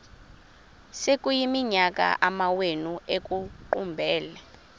sekuyiminyaka amawenu ekuqumbele